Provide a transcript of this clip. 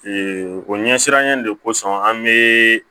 o ɲɛsiranɲɛ de kosɔn an be